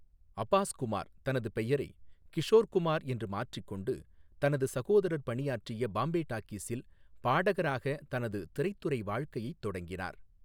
அபாஸ் குமார் தனது பெயரை 'கிஷோர் குமார்' என்று மாற்றிக் கொண்டு, தனது சகோதரர் பணியாற்றிய பாம்பே டாக்கீஸில் பாடகராக தனது திரைத்துறை வாழ்க்கையைத் தொடங்கினார்.